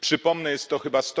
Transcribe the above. Przypomnę jest to chyba